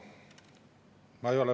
Aitäh!